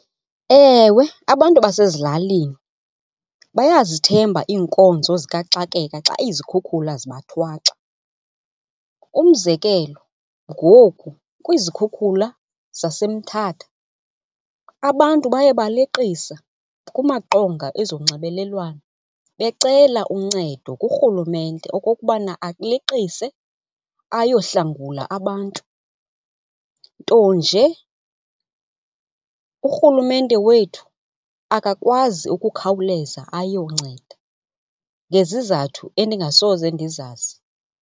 Ewe, abantu basezilalini bayazithemba iinkonzo zikaxakeka xa izikhukhula zibathwaxa. Umzekelo, ngoku kwizikhukhula zaseMthatha abantu baye baleqisa kumaqonga ezonxibelelwano becela uncedo kuRhulumente okokubana aleqise ayohlangula abantu. Nto nje uRhulumente wethu akakwazi ukukhawuleza ayonceda ngezizathu endingasoze ndizazi.